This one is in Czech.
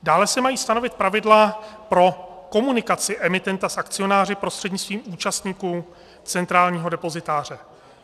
Dále se mají stanovit pravidla pro komunikaci emitenta s akcionáři prostřednictvím účastníků centrálního depozitáře.